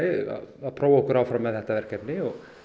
að prófa okkur áfram með þetta verkefni